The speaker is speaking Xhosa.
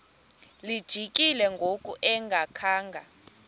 lijikile ngoku engakhanga